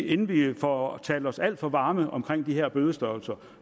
inden vi får talt os alt for varme omkring de her bødestørrelser